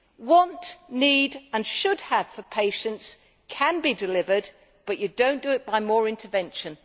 Want', need' and should have' for patients can be delivered, but you do not do it by more intervention.